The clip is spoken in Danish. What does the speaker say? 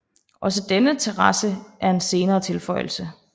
Også denne terrasse er en senere tilføjelse